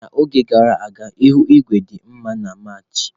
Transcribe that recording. N'oge gara aga ihu igwe dị mma na Maachi.